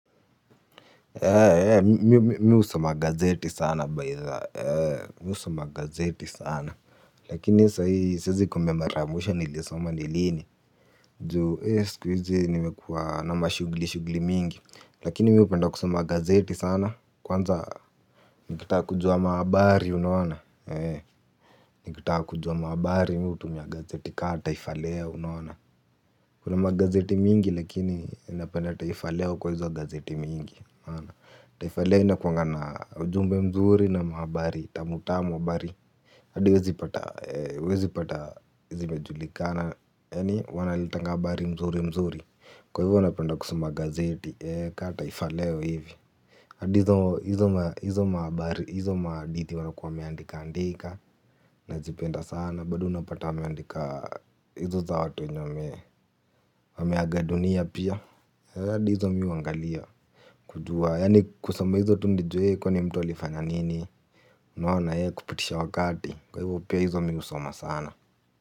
Mi husoma gazeti sana baitha miu samagazeti sana lakini sizi kume maramusha nilisoma nilini juu siku uzi nimekua na mashugli mingi lakini miupenda kusama gazeti sana kwanza nikitaka kujua maabari unawana nikitaka kujua maabari miu tumia gazeti kaa taifaleo unawana kuna magazeti mingi lakini napenda taifaleo kwa hizwa gazeti mingi Taifaleo ina kuangana ujumbe mzuri na mhabari tamutamu mhabari hadi uwezipata Wezipata Izi mejulikana. Yani wanalitenga mbari mzuri mzuri. Kwa hivyo wanapenda kusuma gazeti ka taifaleo hivi hadi hizo mahabari hizo maaditi wanakuwa meandika andika. Najipenda sana. Bado unapata meandika. Hizo za watu wenye meagadunia pia. Hadi hizo mi uwangalia Kujua Yani kusoma hizo tu nijue kwenye mtu alifanya nini. Naona ye kupitisha wakati. Kwa hivo pia hizo mi usoma sana.